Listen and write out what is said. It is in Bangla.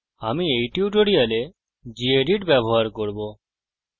আমি এই টিউটোরিয়ালে gedit ব্যবহার করব